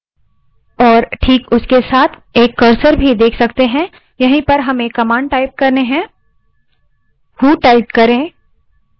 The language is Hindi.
अब हम एक prompt $ देख सकते हैं और this उसके साथ एक cursor भी है यहीं पर हमें command type करनी है